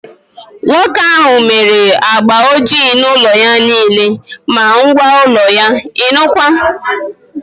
Nwoke ahụ mere agba ọjị na ụlọ ya niile, ma ngwa ụlọ ya, ịnụkwa!